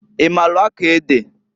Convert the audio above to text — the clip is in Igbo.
I maalụ akọ ede?